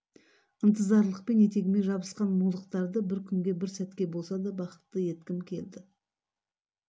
ынтызарлықпен етегіме жабысқан мұңлықтарды бір күнге бір сәтке болса да бақытты еткім келді